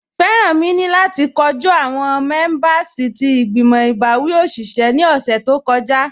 Feranmi ni lati kọju awọn mẹ̀mẹ̀bẹ̀rsì ti igbimọ̀ ibawi oṣiṣẹ̀ ni ọṣẹ̀ tó kọja